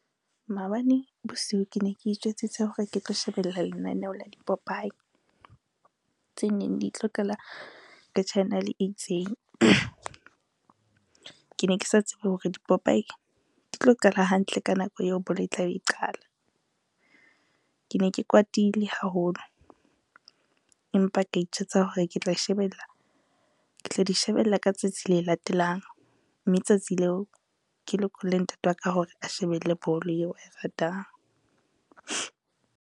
Maobane bosiu ke ne ke itjwetsitse hore ke tlo shebella lenaneo la dipopaye, tse neng di tlo qala ka channel e itseng. Ke ne ke sa tsebe hore dipopaye di tlo qala hantle ka nako eo bolo e tlabe e qala. Ke ne ke kwatile haholo, empa ke itjwetsa hore ke tla di shebella ka tsatsi le latelang mme tsatsi leo ke lokolle ntate wa ka hore a shebelle bolo eo ae ratang.